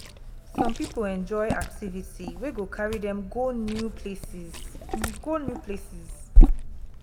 some pipo enjoy activity wey go carry them go new places go new places